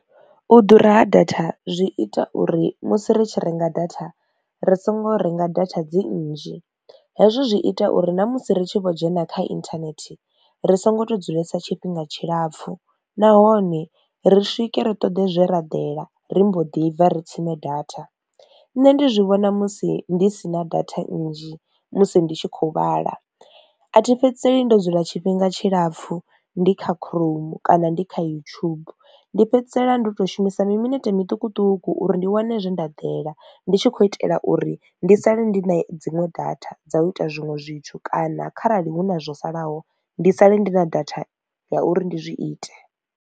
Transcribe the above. U ḓura ha data zwi ita uri musi ri tshi renga data ri songo renga data dzi nnzhi, hezwo zwi ita uri na musi ri tshi vho dzhena kha internet ri songo to dzulesa tshifhinga tshilapfhu nahone ri swike ri ṱoḓe zwe ra ḓela ri mbo ḓi bva ri tsime data. Nṋe ndi vhona musi ndi sina data nnzhi musi ndi tshi kho vhala a thi fhedzi ndo dzula tshifhinga tshilapfhu ndi kha chrome kana ndi kha YouTube ndi fhedzisela ndo to shumisa mi minete miṱukuṱuku uri ndi wane zwe nda ḓela ndi tshi khou itela uri ndi sale ndi na dziṅwe data dza u ita zwiṅwe zwithu kana kharali hu na zwo salaho ndi sale ndi na data ya uri ndi zwi ite.